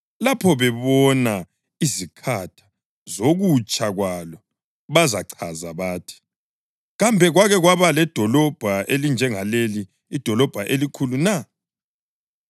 Lapho bebona izikhatha zokutsha kwalo bazachaza bathi, “Kambe kwake kwaba ledolobho elinjengaleli idolobho elikhulu na?”